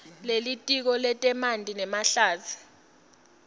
lelitiko letemanti nemahlatsi